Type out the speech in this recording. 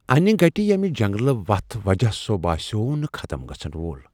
انہِ گَٹہِ ییٚمہِ جنگلہٕ وتھ وجہ سُہ باسیوٚو نہٕ ختم گژھن وول ۔